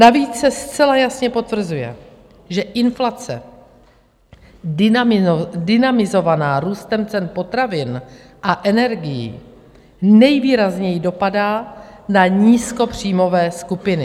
Navíc se zcela jasně potvrzuje, že inflace dynamizovaná růstem cen potravin a energií nejvýrazněji dopadá na nízkopříjmové skupiny.